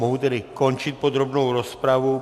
Mohu tedy končit podrobnou rozpravu.